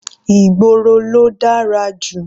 Ìgboro ló dára jù.